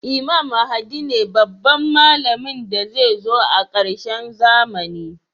Imam mahdi ne babban mallamin da zai zo a karshen zamani